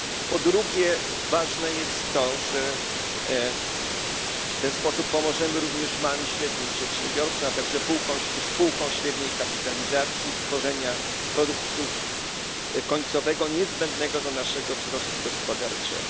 Po drugie, ważne jest to, że w ten sposób pomożemy również małym i średnim przedsiębiorstwom, a także spółkom średniej kapitalizacji w tworzeniu produktu końcowego niezbędnego dla naszego wzrostu gospodarczego.